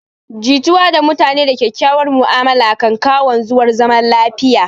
Jituwa da mutane da kyakkyauwar ma'amala kan kawo wanzuwar zaman lafiya